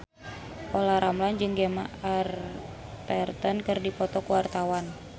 Olla Ramlan jeung Gemma Arterton keur dipoto ku wartawan